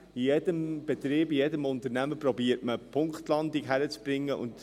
In jedem Betrieb, in jedem Unternehmen versucht man, eine Punktlandung hinzukriegen.